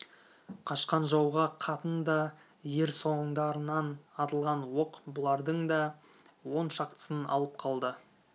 қашқан жауға қатын да ер соңдарынан атылған оқ бұлардың да он шақтысын алып қалды